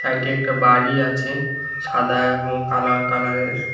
এইটি একটা বাড়ি আছে সাদা এবং কালা কালার এর।